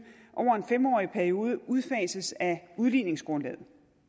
fem årig periode udfases af udligningsgrundlaget